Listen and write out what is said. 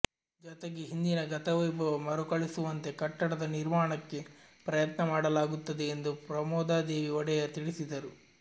ಜತೆಗೆ ಹಿಂದಿನ ಗತವೈಭವ ಮರುಕಳಿಸುವಂತೆ ಕಟ್ಟಡದ ನಿರ್ಮಾಣಕ್ಕೆ ಪ್ರಯತ್ನ ಮಾಡಲಾಗುತ್ತದೆ ಎಂದು ಪ್ರಮೋದಾದೇವಿ ಒಡೆಯರ್ ತಿಳಿಸಿದರು